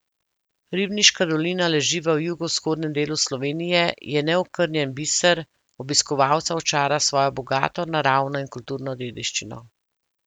Ribniška dolina leži v jugovzhodnem delu Slovenije, je neokrnjen biser, obiskovalca očara s svojo bogato naravno in kulturno dediščino.